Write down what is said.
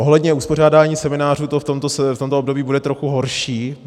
Ohledně uspořádání seminářů to v tomto období bude trochu horší.